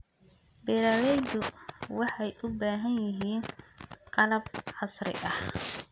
Beeraleydu waxay u baahan yihiin qalab casri ah.